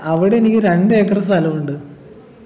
അവിടെ എനിക്ക് രണ്ട് ഏക്കർ സ്ഥലുണ്ട്